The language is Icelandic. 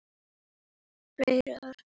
Fleyg orð.